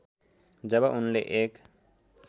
जब उनले एक